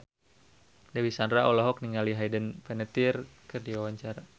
Dewi Sandra olohok ningali Hayden Panettiere keur diwawancara